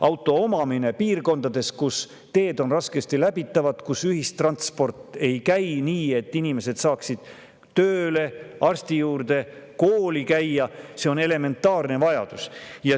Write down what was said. Auto omamine piirkondades, kus teed on raskesti läbitavad, kus ühistransport ei käi nii, et inimesed saaksid tööle, arsti juurde, kooli, on elementaarne vajadus.